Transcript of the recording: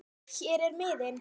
Hér er miðinn